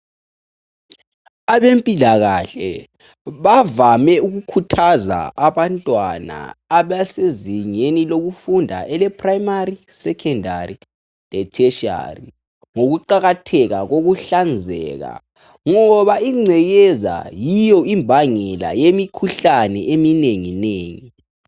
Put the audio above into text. Abempilakahle bavame ukukhuthaza abantwana abasezingeni lokufunda ele prayimari, sekhendari lase theshiyari ngokuqakatheka kokuhlanzeka, ngoba ingcekeza yiyo imbangela yemikhuhlane eminenginengi.